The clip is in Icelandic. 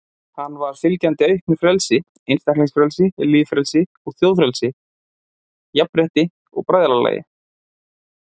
Hann var fylgjandi auknu frelsi, einstaklingsfrelsi, lýðfrelsi og þjóðfrelsi, jafnrétti og bræðralagi.